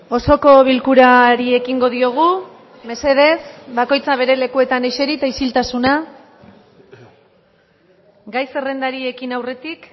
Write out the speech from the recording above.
osoko bilkurari ekingo diogu mesedez bakoitza bere lekuetan eseri eta isiltasuna gai zerrendari ekin aurretik